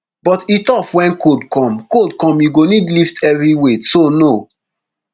but e tough wen cold come cold come you go need lift heavy weight so no